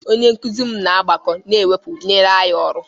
Onye nkuzi m na mgbakọ na mwepụ nyere anyị ọrụ.